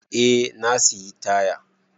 Eh na sayi taya.